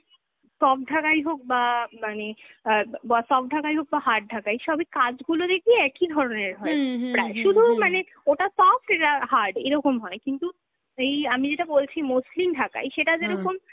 soft ঢাকাই হোক বা মানে, অ্যাঁ ব soft ঢাকাই হোক বা hard ঢাকাই, সবই কাজগুলো দেখবি একই ধরনের হয় প্রায়, শুধু মানে ওটা soft এটা hard এরকম হয় কিন্তু এই আমি যেটা বলছি মসলিন ঢাকাই সেটা যেরকম